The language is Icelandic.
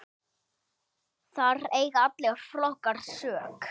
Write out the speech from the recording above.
Þar eiga allir flokkar sök.